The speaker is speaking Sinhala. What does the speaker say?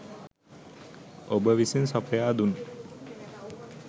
ඔබ විසින් සපයා දුන්